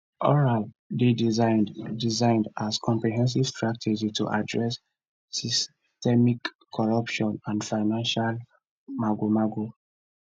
oral dey designed designed as comprehensive strategy to address systemic corruption and financial magomago